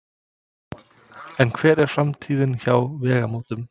En hver er framtíðin hjá Vegamótum?